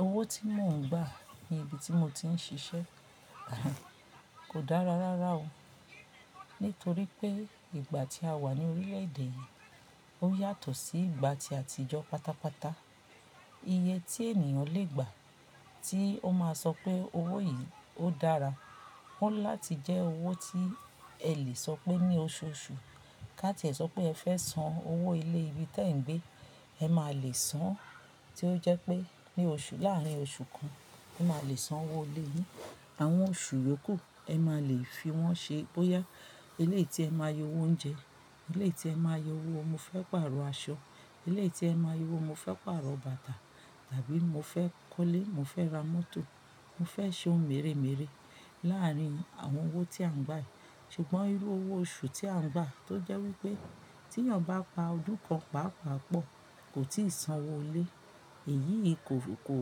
Owó tí mò ń gbà ní ibi tí mo ti ń ṣiṣẹ́ kò dára rárá o. Nítorí pé ìgbà tí a wà ní orílẹ̀ èdè yìí ó yàtọ̀ sí ìgbà ti àtijọ́ pátápátá. Iye tí ènìyàn le gbà tí ó máa sọ pé owó yìí ó dára, wọ́n láti jẹ́ owó tí ẹ lè sọ pé ní oṣooṣù. Ká tí ẹ sọ pé ẹ fẹ́ san owó ilé ibi tí ẹ̀ ń gbé, ẹ máa lè san tí ó jẹ́ pé ní oṣù láàrin oṣù kan ẹ máa lè san owó ilé yín. Àwọn oṣù yòókù ẹ máa lè fi wọ́n ṣe bóyá elé tí ẹ máa yọ owó ń jẹ, elé tí ẹ máa yọ owó mo fẹ́ pààrọ̀ aṣọ, elé tí ẹ máa yọ owó mo fẹ́ pààrọ̀ bàtà. Tàbí mo fẹ́ kọ́lé, mo fẹ́ ra mọ́tò, mo fẹ́ ṣe ohun mèremère láàrin àwọn owó tí à ń gbà yìí. Ṣùgbọ́n irú owó oṣù tí à ń gbà tó jẹ́ wípé tí ènìyàn bá pa ọdún kan pàápàá pọ̀ kò tíì san owó ilé. Èyí kò, kò,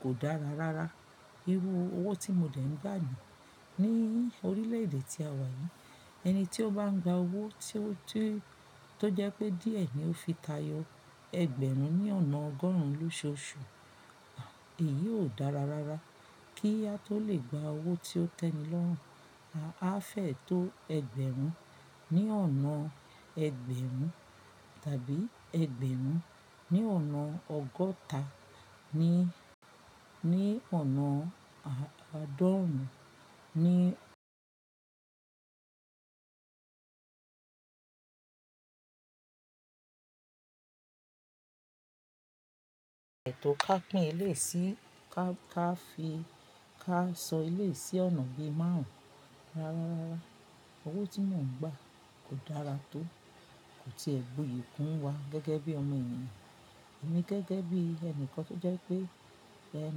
kò dára rárá. Irú owó tí mo dẹ̀ ń gbà nìyí ní orílẹ̀ èdè tí a wà yìí, ẹni tí ó bá ń gba owó tí ó, tí ó jẹ́ pé díẹ̀ ni ó fi tayọ ẹgbẹ̀rún ní ọ̀nà ọgọ́rùn-ún lóṣooṣù, èyí ò dára rárá. Kí a tó lè gba owó tí ó tẹ́ni lọ́rùn, a fẹ́ tó ẹgbẹ̀rún ní ọ̀nà ẹgbẹ̀rún tàbí ẹgbẹ̀rún ní ọ̀nà ọgọ́ta, ní, ní ọ̀nà àádọ́rùn-ún, ní àìtó ká pín elé sí ká, ká fi ká san elé sí ọ̀nà bí márùn-ún rárá, rárá. Owó tí mò ń gbà kò dára tó. Kò tiẹ̀ bu iyì kún wa gẹ́gẹ́ bí ọmọ ènìyàn. Èmi gẹ́gẹ́ bí ẹni kan tó jẹ́ pé ẹ́,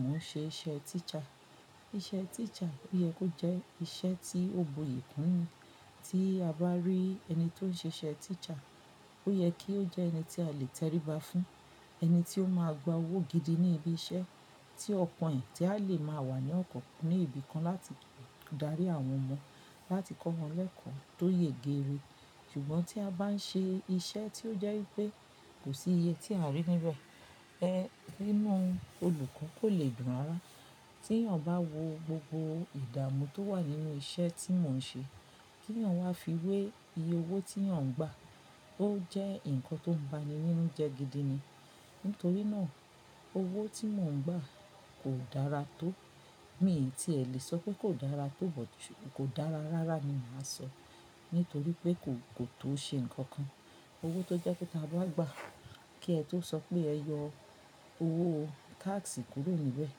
mò ń ṣe iṣẹ́ teacher. Iṣẹ́ teacher ó yẹ kó jẹ́ iṣẹ́ tí ó bu iyì kún ni. Tí a bá rí ẹni tó ń ṣe iṣẹ́ teacher, ó yẹ kí ó jẹ́ ẹni tí a lè tẹríba fún, ẹni tí ó máa gba owó gidi ní ibi iṣẹ́, tí ọ̀kan ẹ̀ tí a lè máa wà ní ọ̀kọ̀ọ̀kọ́ ní ibi kan láti darí àwọn ọmọ, láti kọ́ wọn lẹ́kọ̀ọ́ tó yè gé ire. Ṣùgbọ́n tí a bá ń ṣe iṣẹ́ tí ó jẹ́ wípé kò sí iye tí à ń rí níbẹ̀, ẹ́, inú olùkọ́ kò le dùn rara. Tí èyàn bá wo gbogbo ìdààmú tó wà nínú iṣẹ́ tí mò ń ṣe, kí ènìyàn wá fi wé iye owó tí ò ń gbà, ó jẹ́ ǹkan tó ń ba ni nínú jẹ gidi ni. Nítorí náà owó tí mò ń gbà kò dára tó. Mí tí ẹ lè sọ pé kò dára tó bọ̀ tí kò dára rárá ni màá sọ. Nítorí pé kò, kò tó ṣe ǹkan kan. Owó tó jẹ́ pé tí a bá gbà kí ẹ tó sọ pé ẹ yọ owó tax kúrò nínú rẹ̀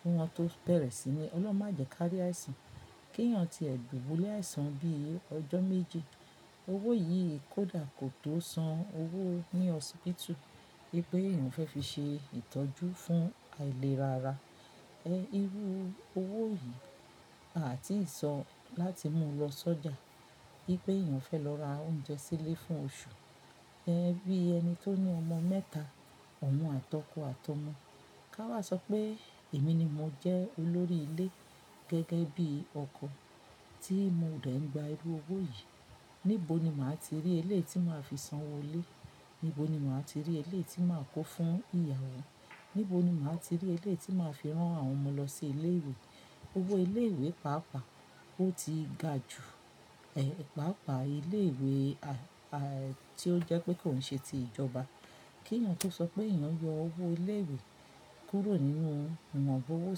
kí wọ́n tó bẹ̀rẹ̀ sí ní ọlọ́un maa je kárí àìsàn. Kí ènìyàn tí ẹ dùbúlẹ̀ àìsàn bíi ọjọ́ méji, owó yìí kò dà kó tó san owó ní hospital bí pé ènìyàn fẹ́ fi ṣe ìtọ́jú fún àìlera ara. Ẹ̀, irú owó yìí a ti ì sọ láti mú lọ sójà bí pé ènìyàn fẹ́ lọ ra oúnjẹ sílé fún oṣù. Ẹ̀, bí ẹni tó ní ọmọ mẹ́ta, ọ̀un, àtọkọ̀, àtọmọ. Ká wà sọ pé èmi ni mo jẹ́ olórí ilé gẹ́gẹ́ bí ọkọ, tí mò dẹ̀ ń gba irú owó yìí, níbo ni màá ti rí elé tí màá fi san owó ilé? Níbo ni màá ti rí elé tí màá kó fún ìyàwó? Níbo ni màá ti rí elé tí màá fi rán àwọn ọmọ lọ sí ilé ìwé? Owó ilé ìwé pàápàá ó ti ga jù, ẹ́, pàápàá ilé ìwé, à, à tí ó jẹ́ pé kò ń ṣe ti ìjọba. Kí ènìyàn tó sọ pé ènìyàn yọ owó ilé ìwé kúrò nínú ìwonba ówó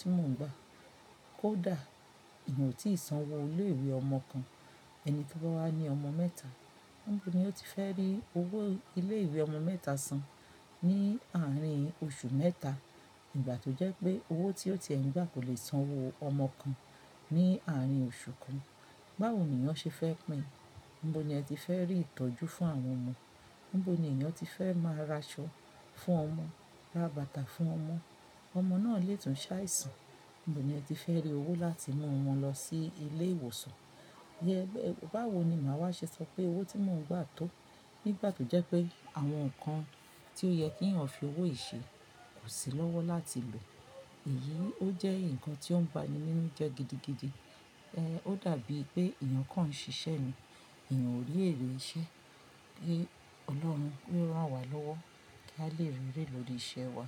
tí mò ń gbà, kò dà. Ìyẹn ò tíì san owó ilé ìwé ọmọ kan. Ẹni tí ó bá wá ní ọmọ mẹ́ta, níbo ni ó ti fẹ́ rí owó ilé ìwé ọmọ mẹ́ta san ní àárín oṣù mẹ́ta nígbà tó jẹ́ pé owó tí ó ti ẹ̀ ń gbà kò lè san owó ọmọ kan ní àárín oṣù kan. Báwo ni ìyan ṣe fẹ́ pín? Níbo ni ẹ ti fẹ́ rí ìtọ́jú fún àwọn ọmọ? Níbo ni ènìyàn ti fẹ́ máa ra aṣọ fún ọmọ, ra bàtà fún ọmọ? Ọmọ náà léètù ń ṣàìsàn, níbo ni ẹ ti fẹ́ rí owó láti mú ọmọ lọ sí ilé ìwòsàn? Yẹ, báwo ni màá wá ṣe sọ pé owó tí mò ń gbà tó, nígbà tó jẹ́ pé àwọn ǹkan tí ó yẹ kí ènìyàn fi owó yìí ṣe kò sí lọ́wọ́ láti lo? Èyí ó jẹ́ ǹkan tí ó ń ba ni nínú jẹ gidigidi. Ẹ̀, ó dàbí pé ènìyàn kàn ń ṣiṣẹ́ ni, ènìyàn ò rí èrè iṣẹ́. Gẹ́, Olórun ko'ran wà lọ́wọ́, kí a lè rí eré lórí iṣẹ́ wa.